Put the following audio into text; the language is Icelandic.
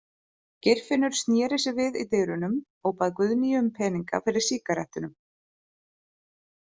Geirfinnur sneri sér við í dyrunum og bað Guðnýju um peninga fyrir sígarettunum.